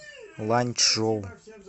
ланьчжоу